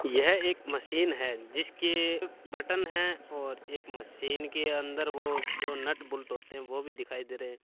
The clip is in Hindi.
यह एक मशीन है जिस के बटन है और एक मशीन के अन्दर जो नट बोल्ट होते है वो भी दिखाय दे रहे है।